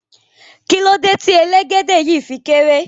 Kilode ti elegede yii fi kere?